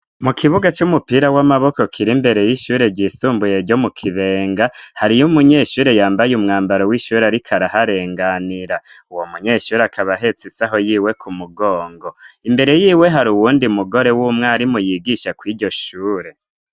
Mu kibuga c'umupira w'amaboko kir'imbere y'ishure ryisumbuye ryo mu Kibenga, hariyo umunyeshure yambaye umwambaro w'ishuri ariko araharenganira. Uwo munyeshure akaba ahetse isaho yiwe ku mugongo. Imbere yiwe hari uwundi mugore w'umwarimu yigisha kw'iryo shure.